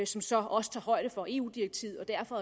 som så også tager højde for eu direktivet og derfor